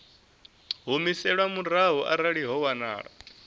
humiselwa murahu arali ho wanala